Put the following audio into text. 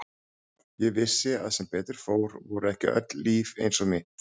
Ég vissi að sem betur fór voru ekki öll líf eins og mitt.